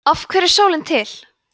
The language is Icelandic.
af hverju er sólin til